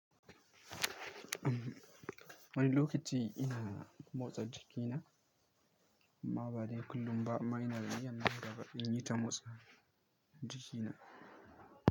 Wani lokaci ina motsa jikina, amma badai kullum ba amma ina da niyyar daga ɗin yi ta motsa jikina.